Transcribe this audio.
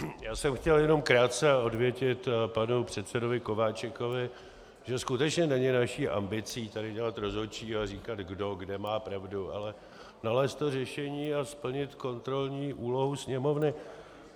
Já jsem chtěl jenom krátce odvětit panu předsedovi Kováčikovi, že skutečně není naší ambicí tady dělat rozhodčí a říkat, kdo kde má pravdu, ale nalézt to řešení a splnit kontrolní úlohu Sněmovny.